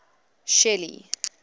shelly